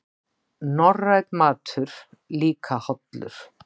Norrænn matur líka hollur